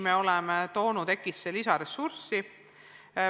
Me oleme toonud EKI-sse lisaressurssi.